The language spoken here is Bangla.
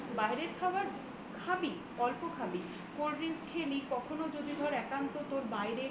বাইরের খাবার খাবি অল্প খাবি Cold drinks খেলি কখনো যদি ধর একান্ত তোর বাইরে